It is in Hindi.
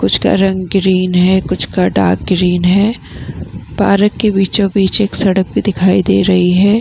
कुछ का रंग ग्रीन है | कुछ का डार्क ग्रीन है पार्क के बीचो बीच एक सड़क भी दिखाई दे रही है ।